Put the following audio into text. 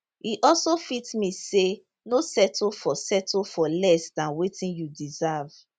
e also fit mean say no settle for settle for less dan wetin you deserve